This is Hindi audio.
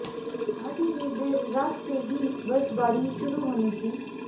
घाटी में देर रात से ही बर्फबारी शुरू होने की